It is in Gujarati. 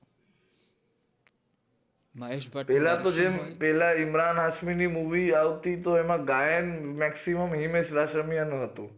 પેલા તો જેમ પેલા ઇમરાન હાસમીની movie આવતી તી ગાયન maximum હતું